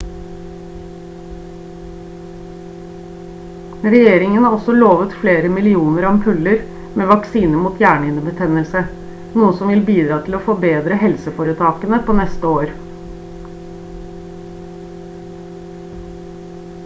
regjeringen har også lovet flere millioner ampuller med vaksine mot hjernehinnebetennelse noe som vil bidra til å forberede helseforetakene på neste år